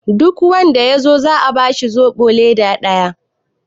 duk wanda ya zo a bashi zobo leda daya!